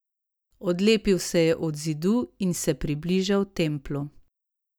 Odlepil se je od zidu in se približal Templu.